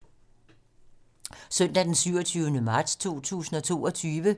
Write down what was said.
Søndag d. 27. marts 2022